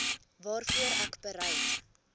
waarvoor ek bereid